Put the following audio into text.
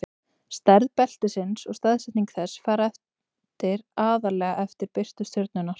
stærð beltisins og staðsetning þess fara eftir aðallega eftir birtu stjörnunnar